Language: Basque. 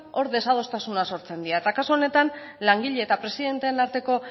hor desadostasunak sortzen dira eta kasu honetan langileen eta presidenteen arteko